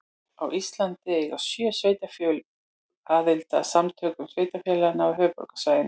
Á Íslandi eiga sjö sveitarfélög aðild að Samtökum sveitarfélaga á höfuðborgarsvæðinu.